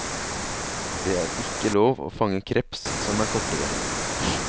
Det er ikke lov å fange kreps som er kortere.